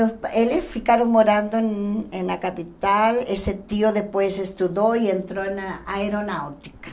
Eles ficaram morando na capital, esse tio depois estudou e entrou na aeronáutica.